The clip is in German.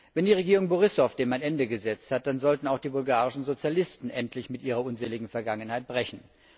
Wenn die Regierung Borissow dem ein Ende gesetzt hat, dann sollten auch die bulgarischen Sozialisten endlich mit ihrer unseligen Vergangenheit brechen.